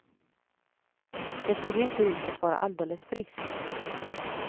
Det såg inte ut att vara alldeles friskt.